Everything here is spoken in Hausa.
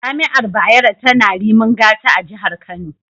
Jami’ar Bayero tana Rimin Gata a Jihar Kano.